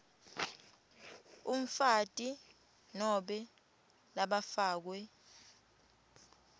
umfati nobe labafakwe